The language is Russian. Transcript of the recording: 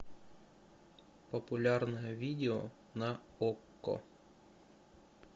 популярное видео на окко